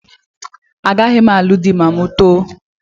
Agaghị m alụ di ma m too